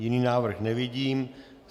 Jiný návrh nevidím.